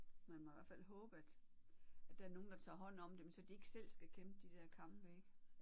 Man må i hvert fald håbe at at der er nogle der tager hånd om dem så de ikke selv skal kæmpe de der kampe ik